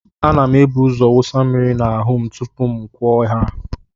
A na m ebuzo wụsa mmiri n'ahụ m tupuu m kwuo haa m ya.